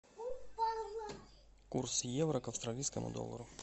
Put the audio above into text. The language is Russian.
курс евро к австралийскому доллару